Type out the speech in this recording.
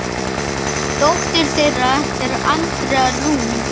Dóttir þeirra er Andrea Rún.